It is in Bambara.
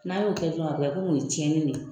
N'an y'o kɛ dɔrɔn a be kɛ o ye tiɲɛni de ye.